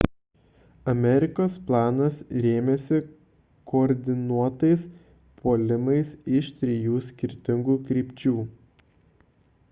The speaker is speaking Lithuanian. amerikos planas rėmėsi koordinuotais puolimais iš trijų skirtingų krypčių